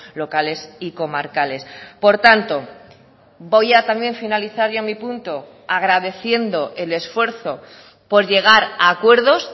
locales y comarcales por tanto voy a también finalizar ya mi punto agradeciendo el esfuerzo por llegar a acuerdos